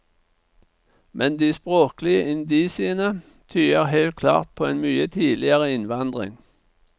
Men de språklige indisiene tyder helt klart på en mye tidligere innvandring.